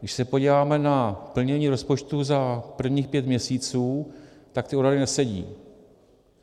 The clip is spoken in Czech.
Když se podíváme na plnění rozpočtu za prvních pět měsíců, tak ty odhady nesedí.